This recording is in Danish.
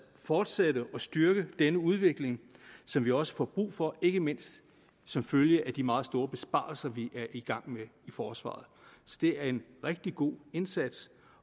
fortsætte og styrke denne udvikling som vi også får brug for ikke mindst som følge af de meget store besparelser vi er i gang med i forsvaret det er en rigtig god indsats